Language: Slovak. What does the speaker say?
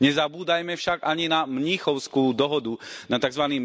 Nezabúdajme však ani na Mníchovskú dohodu, na tzv.